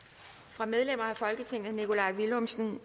fra medlemmer af folketinget nikolaj villumsen